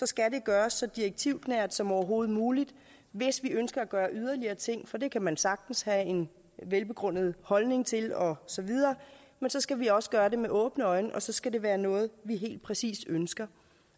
skal det gøres så direktivnært som overhovedet muligt hvis vi ønsker at gøre yderligere ting for det kan man sagtens have en velbegrundet holdning til og så videre men så skal vi også gøre det med åbne øjne og så skal det være noget vi helt præcis ønsker